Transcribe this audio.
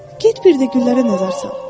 Get bir də güllərə nəzər sal.